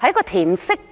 是一塊填色板。